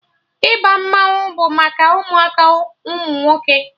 Ịba mmanwụ bụ maka ụmụaka ụmụ nwoke